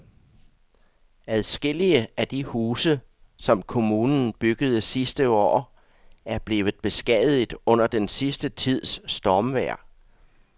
Adskillige af de huse, som kommunen byggede sidste år, er blevet beskadiget under den sidste tids stormvejr.